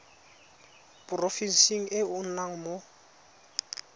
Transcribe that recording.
porofenseng e o nnang mo